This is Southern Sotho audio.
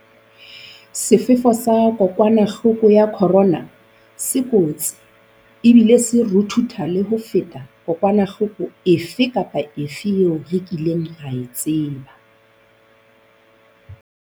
Sefefo sa kokwanahloko ya corona se kotsi ebile se ruthutha le ho feta kokwanahloko efe kapa efe eo re kileng ra e tseba.